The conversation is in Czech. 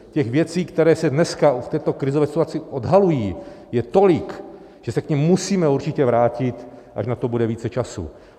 Těch věcí, které se dneska v této krizové situaci odhalují, je tolik, že se k nim musíme určitě vrátit, až na to bude více času.